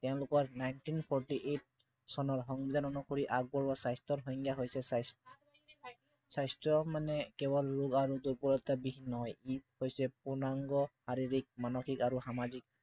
তেওঁলোকৰ nineteen forty eight চনৰ সংজ্ঞা অনুসৰি আগবঢ়োৱা স্বাস্থ্য়ৰ সংজ্ঞা হৈছে স্বাস্থ্য় মানে কেৱল ৰোগ আৰু দূৰ্বলতাৰ দিশ নহয়। ই হৈছে পূৰ্ণাংগ শাৰীৰিক, মানসিক আৰু সামাজিক